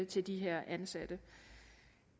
til de her ansatte